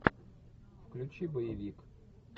включи боевик